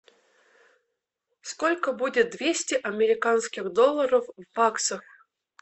сколько будет двести американских долларов в баксах